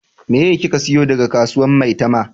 Meye ki ka siyo daga kasuwan maitama?